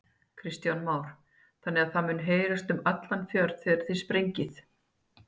Kristján Már: Þannig að það mun heyrast um allan fjörð þegar þið sprengið?